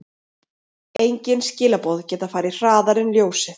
Engin skilaboð geta farið hraðar en ljósið.